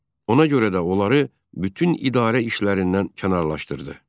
Ona görə də onları bütün idarə işlərindən kənarlaşdırdı.